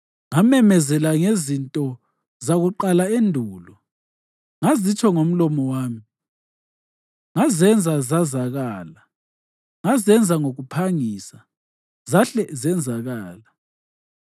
Ngamemezela ngezinto zakuqala endulo, ngazitsho ngomlomo wami, ngazenza zazakala. Ngazenza ngokuphangisa, zahle zenzakala.